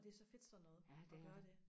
og det er så fedt sådan noget og gøre det